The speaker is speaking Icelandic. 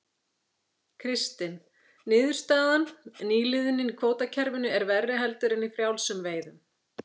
Kristinn: Niðurstaðan, nýliðunin í kvótakerfinu er verri heldur en í frjálsum veiðum?